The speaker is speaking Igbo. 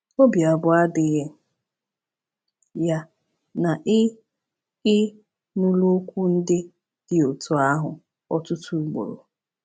Obi abụọ adịghị ya na ị ị nụla okwu ndị dị otú ahụ ọtụtụ ugboro.